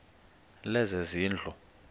lezezindlu